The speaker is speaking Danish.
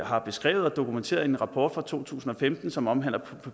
har beskrevet og dokumenteret i en rapport fra to tusind og femten som omhandler